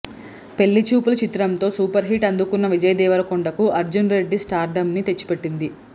పెళ్లి చూపులు చిత్రంతో సూపర్ హిట్ అందుకున్న విజయ్ దేవరకొండ కు అర్జున్ రెడ్డి స్టార్ డం ని తెచ్చిపెట్టింది